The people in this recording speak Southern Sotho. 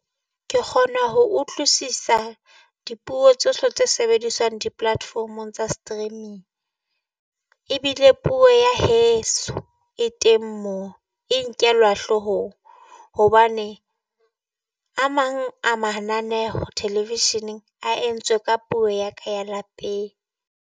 Ke kgone ho utlwisisa dipuo tsohle tse sebediswang di-platform-ong tsa streaming. Ebile puo ya heso e teng moo e nkelwa hloohong, hobane a mang a mananeho television-eng a entswe ka puo ya ka ya lapeng.